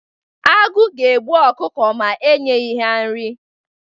Agụụ ga-egbu ọkụkọ ma e nyeghi ya nri.